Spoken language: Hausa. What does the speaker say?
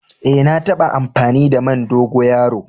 Eh, na tabba amfani da man dogoyaro.